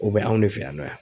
O bɛ anw ne fɛ yan nɔ yan.